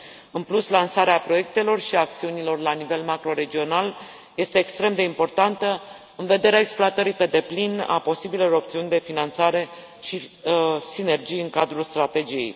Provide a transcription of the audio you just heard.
În plus, lansarea proiectelor și acțiunilor la nivel macro regional, este extrem de importantă în vederea exploatării pe deplin a posibilelor opțiuni de finanțare și sinergii în cadrul strategiei.